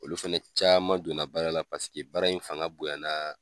Olu fɛnɛ caman don na baara la paseke baara in fanga bonya na